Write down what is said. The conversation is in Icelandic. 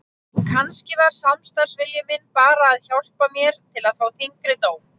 Kannski var samstarfsvilji minn bara að hjálpa mér til að fá þyngri dóm.